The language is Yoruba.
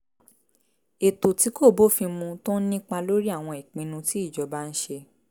ètò tí kò bófin mu tó ń nípa lórí àwọn ìpinnu tí ìjọba ń ṣe